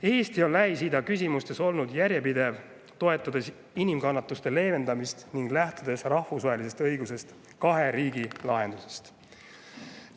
Eesti on Lähis-Ida küsimustes olnud järjepidev, toetades inimkannatuste leevendamist ning kahe riigi lahendust, lähtudes rahvusvahelisest õigusest.